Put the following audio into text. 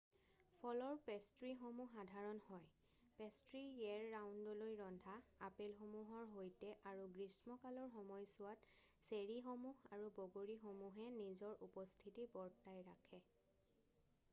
ফলৰ পেষ্ট্ৰীসমূহ সাধাৰণ হয় পেষ্ট্ৰী ইয়েৰ ৰাউণ্ডলৈ ৰন্ধা আপেলসূহৰ সৈতে আৰু গ্ৰীষ্মকালৰ সময়ছোৱাত চেৰীসমূহ আৰু বগৰীসমূহে নিজৰ উপস্থিতি বৰ্তাই ৰাখে৷